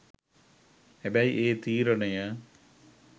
හැබැයි ඒ තීරණය